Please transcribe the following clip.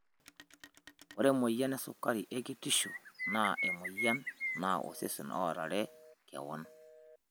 Ore emoyian esukari e kitisho naa emoyian naa osesen oorare kewon.